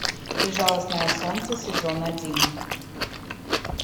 безжалостное солнце сезон один